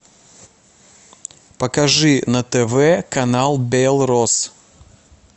покажи на тв канал белрос